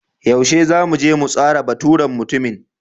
Yaushe zamu je mu tsara teburin mutumin?